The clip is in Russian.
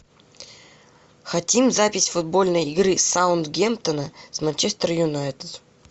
хотим запись футбольной игры саутгемптона с манчестер юнайтед